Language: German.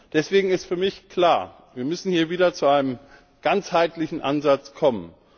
Deswegen ist für mich klar Wir müssen hier wieder zu einem ganzheitlichen Ansatz kommen.